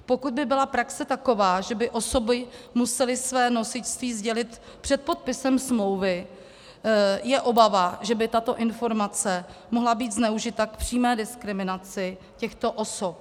Pokud by byla praxe taková, že by osoby musely své nosičství sdělit před podpisem smlouvy, je obava, že by tato informace mohla být zneužita k přímé diskriminaci těchto osob.